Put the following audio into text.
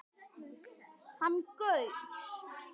Hann gaus